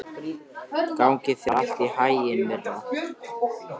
Gangi þér allt í haginn, Myrra.